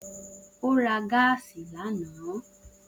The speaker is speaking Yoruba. O ra gáásì lana.